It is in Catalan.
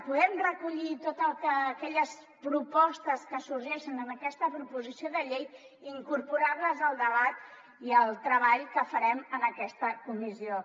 podem recollir totes aquelles propostes que sorgeixen en aquesta proposició de llei i incorporar les al debat i al treball que farem en aquesta comissió